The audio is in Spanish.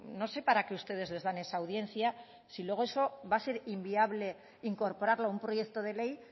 no sé para qué ustedes les dan esa audiencia si luego eso va a ser inviable incorporarlo a un proyecto de ley